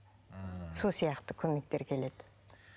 ммм сол сияқты көмектер келеді